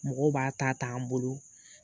Mɔgɔw b'a ta ta an bolo.